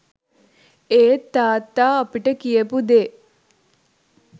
ඒත් තාත්තා අපිට කියපු දේ